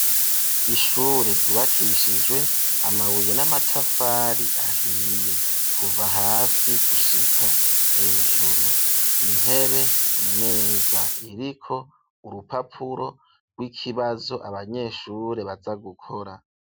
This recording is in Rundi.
Ishure, ryubakishijwe amabuye, n'amatafari ahiye, kuva hasi gushika hejuru; intebe, imeza, iriko urupapuro rw'ikibazo, abanyeshure baza gukora.